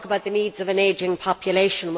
You talk about the needs of an ageing population.